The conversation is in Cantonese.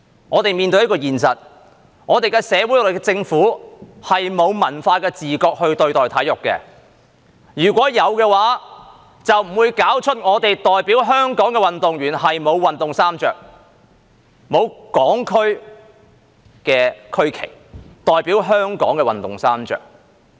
我們面對一個現實，那就是我們的社會、政府是沒有文化的自覺對待體育，如果有，就不會搞出代表香港的運動員沒有運動衣穿，沒有港區的區旗、代表香港的運動衣穿。